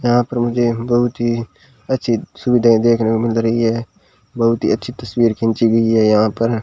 यहां पर मुझे एक बहुत ही अच्छी सुविधाएं देखने को मिल रही है बहुत ही अच्छी तस्वीर खींची गई है यहां पर।